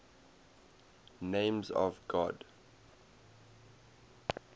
names of god